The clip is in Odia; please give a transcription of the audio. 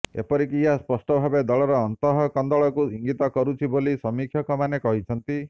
ଏପରିକି ଏହା ସ୍ପଷ୍ଟ ଭାବେ ଦଳର ଅନ୍ତଃକନ୍ଦଳକୁ ଇଙ୍ଗିତ କରୁଛି ବୋଲି ସମୀକ୍ଷକମାନେ କହିଛନ୍ତି